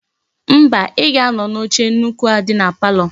Mba, I ga-ano n'oche nnukwu a di na palo.